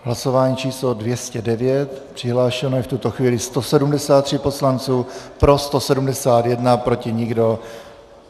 Hlasování číslo 209, přihlášeno je v tuto chvíli 173 poslanců, pro 171, proti nikdo.